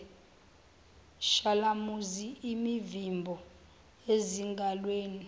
shalamuzi imivimbo ezingalweni